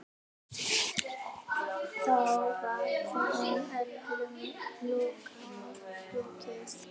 Þá var þeim öllum lokið.